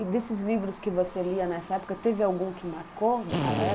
E desses livros que você lia nessa época, teve algum que marcou daquela época?